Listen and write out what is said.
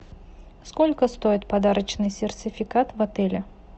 сколько стоит подарочный сертификат в отеле